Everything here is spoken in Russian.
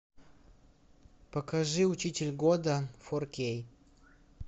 покажи учитель года фор кей